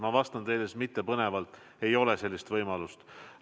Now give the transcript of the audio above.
Ma vastan teile mittepõnevalt: ei ole sellist võimalust.